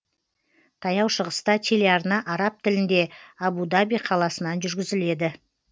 таяу шығыста телеарна араб тілінде абу даби қаласынан жүргізіледі